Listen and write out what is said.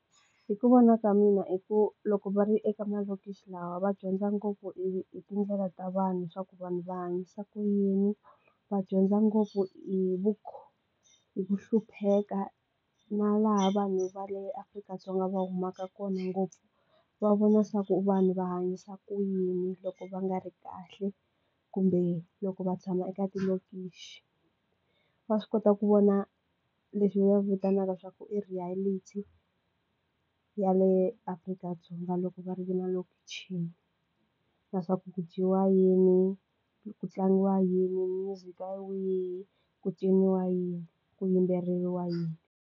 Hi ku vona ka mina hi ku loko va ri eka malokixi lawa va dyondza ngopfu hi tindlela ta vanhu swa ku vanhu va hanyisa ku yini va dyondza ngopfu hi vu hi ku hlupheka na laha vanhu va le Afrika-Dzonga va humaka kona ngopfu va vona swa ku vanhu va hanyisa ku yini loko va nga ri kahle kumbe loko va tshama eka tilokishi va swi kota ku vona leswi va vitanaka swa ku i reality ya le Afrika-Dzonga loko va ri na lokshin leswaku ku dyiwa yini, ku tlangiwa yini, music wa wihi, ku ciniwa yini, ku yimbeleriwa yini.